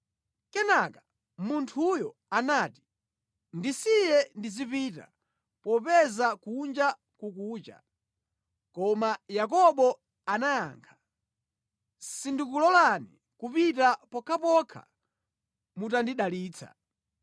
Kenaka munthuyo anati, “Ndisiye ndizipita, popeza kunja kukucha.” Koma Yakobo anayankha, “Sindikulolani kupita pokhapokha mutandidalitsa.”